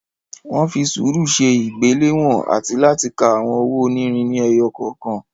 Wọ́n fi sùúrù ṣe ìgbéléwọ̀n àti láti ka àwọn owó onírin ni ẹyọ kọ̀ọ̀kan.